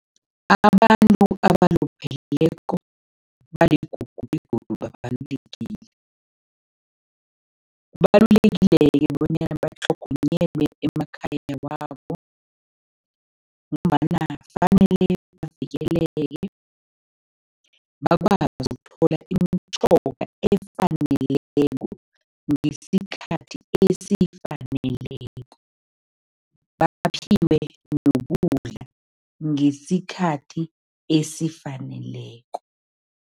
Abantu abalupheleko baligugu begodu babalulekile. Kubalulekile-ke bonyana batlhogonyelwe emakhaya wabo ngombana fanele bavikeleke, bakwazi ukuthola imitjhoga efaneleko ngesikhathi esifaneleko, baphiwe nokudla ngesikhathi esifaneleko.